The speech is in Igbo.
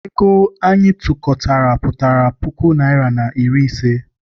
Ego anyị tụkọtara pụtara puku naịra na iri ise.